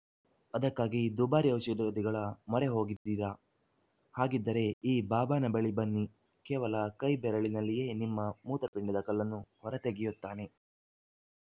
ಅದಕ್ಕಾಗಿ ದುಬಾರಿ ಔಷಧಗಳ ಮೊರೆ ಹೋಗಿದ್ದೀರಾ ಹಾಗಿದ್ದರೆ ಈ ಬಾಬಾನ ಬಳಿ ಬನ್ನಿ ಕೇವಲ ಕೈ ಬೆರಳಿನಲ್ಲಿಯೇ ನಿಮ್ಮ ಮೂತ್ರಪಿಂಡದ ಕಲ್ಲನ್ನು ಹೊರತೆಗೆಯುತ್ತಾನೆ